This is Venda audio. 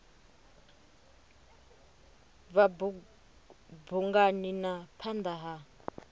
bva bungani na phanda ha